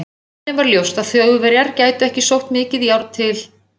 Af henni var ljóst, að Þjóðverjar gætu ekki sótt mikið járn til